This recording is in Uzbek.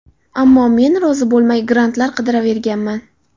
Ammo men rozi bo‘lmay, grantlar qidiraverganman.